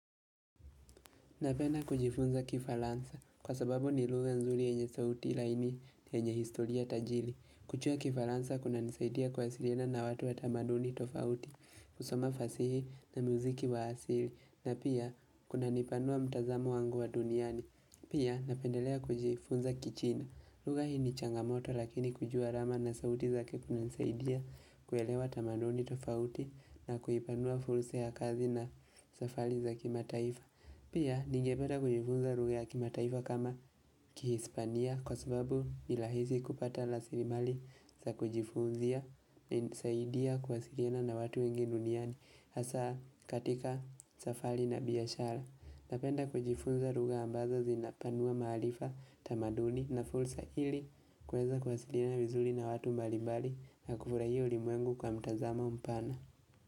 Napenda kujifunza kifaransa kwa sababu ni lugha nzuri yenye sauti laini yenye historia tajiri. Kujua kifaransa kunanisaidia kuwasiliana na watu wa tamaduni tofauti, kusoma fasihi na muziki wa asili na pia kuna nipanua mtazamo wangu wa duniani. Pia napendelea kujifunza kichina. Lugha hii ni changamoto lakini kujua alama na sauti zake kunanisaidia kuelewa tamaduni tofauti na kuipanua fursa ya kazi na safari za kimataifa. Pia ningepeta kujifunza lugha kimataifa kama kihispania kwa sababu ni rahisi kupata raslimali za kujifunzia na inisaidia kuwasilina na watu wengi duniani hasa katika safari na biashara. Napenda kujifunza lugha ambazo zinapanua maarifa tamaduni na fursa ili kuweza kuwasilina vizuri na watu mbalimbali na kufurahia ulimwengu kwa mtazamo mpana.